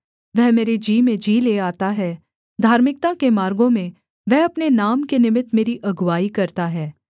वह मेरे जी में जी ले आता है धार्मिकता के मार्गों में वह अपने नाम के निमित्त मेरी अगुआई करता है